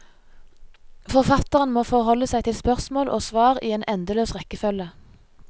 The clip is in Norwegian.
Forfatteren må forholde seg til spørsmål og svar i en endeløs rekkefølge.